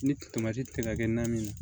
Ni tɛ ka kɛ naani ye